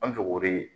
An bɛ to k'o de